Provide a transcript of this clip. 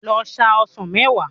Lọ sa ọsàn mẹ́wàá.